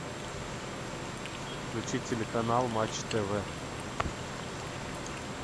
включи телеканал матч тв